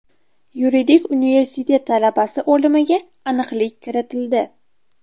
Yuridik universitet talabasi o‘limiga aniqlik kiritildi.